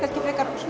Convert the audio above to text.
frekar